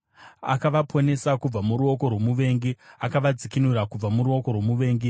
Akavaponesa kubva muruoko rwomuvengi; akavadzikinura kubva muruoko rwomuvengi.